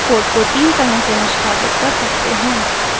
ruby code को तीन तरह से निष्पादित कर सकते हैं